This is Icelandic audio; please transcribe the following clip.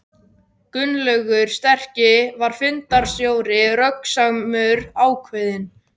Gunnlaugur sterki var fundarstjóri, röggsamur, ákveðinn.